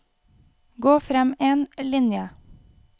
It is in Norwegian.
Gå frem én linje